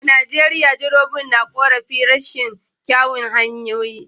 A Najeriya direbobin na korafin rashin kyawun hanyoyi